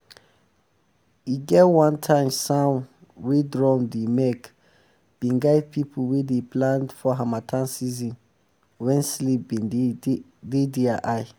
e get one time sound wey drum dey make been guide people wey dey plant for harmattan season wen sleep been dey their eye